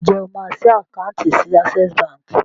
Ǹjẹ́ o máa ṣí àkáùntì sí Access Bank?